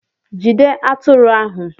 Jide atụrụ ahu!